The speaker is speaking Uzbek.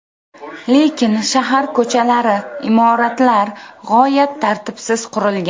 Lekin shahar ko‘chalari, imoratlar g‘oyat tartibsiz qurilgan.